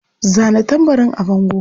Zana tambarin a bango.